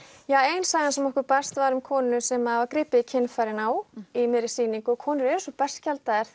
ja ein sagan sem okkur barst var um konu sem að var gripið í kynfærin á í miðri sýningu og konur eru svo berskjaldaðar